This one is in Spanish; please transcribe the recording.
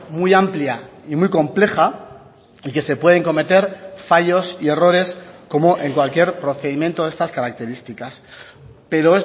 muy amplia y muy compleja y que se pueden cometer fallos y errores como en cualquier procedimiento de estas características pero